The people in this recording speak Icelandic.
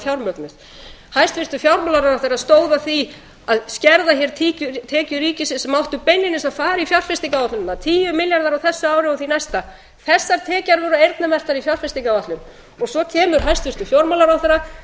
fjármögnuð hæstvirtur fjármálaráðherra stóð að því að skerða tekjur ríkisins sem áttu beinlínis að fara í fjárfestingaráætlunina tíu milljarðar á þessu ári og því næsta þessar tekjur voru eyrnamerktar í fjárfestingaráætlun og svo kemur hæstvirtur fjármálaráðherra